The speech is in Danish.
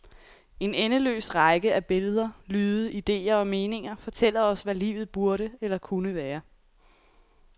En endeløs række af billeder, lyde, ideer og meninger fortæller os, hvad livet burde eller kunne være.